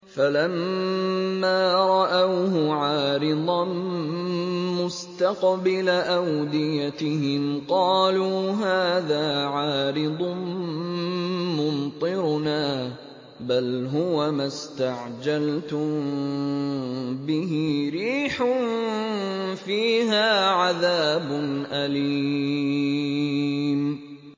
فَلَمَّا رَأَوْهُ عَارِضًا مُّسْتَقْبِلَ أَوْدِيَتِهِمْ قَالُوا هَٰذَا عَارِضٌ مُّمْطِرُنَا ۚ بَلْ هُوَ مَا اسْتَعْجَلْتُم بِهِ ۖ رِيحٌ فِيهَا عَذَابٌ أَلِيمٌ